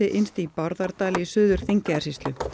innst í Bárðardal í Suður Þingeyjarsýslu